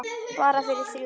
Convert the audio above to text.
Bara við þrjú.